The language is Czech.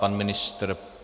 Pan ministr?